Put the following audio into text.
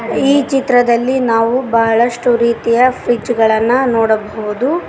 ಈ ಚಿತ್ರದಲ್ಲಿ ನಾವು ಬಹಳಷ್ಟು ರೀತಿಯ ಫ್ರಿಜ್ ಗಳನ್ನ ನೋಡಬಹುದು.